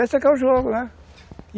Esse é que é o jogo, né?